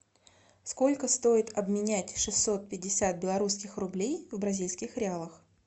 сколько стоит обменять шестьсот пятьдесят белорусских рублей в бразильских реалах